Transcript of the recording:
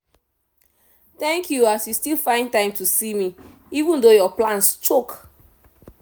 thank you as you still find time see me even though your plans choke.